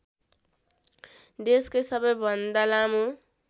देशकै सबैभन्दा लामो